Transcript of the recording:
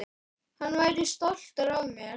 Hann væri stoltur af mér.